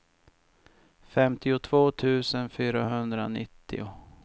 femtiotvå tusen fyrahundranittio